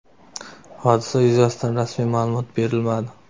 Hodisa yuzasidan rasmiy ma’lumot berilmadi.